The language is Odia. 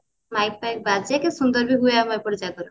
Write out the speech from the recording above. light fight ବାଜା କି ସୁନ୍ଦର ଭାବେ ହୁଏ ଆମ ଏପଟେ ଜାଗର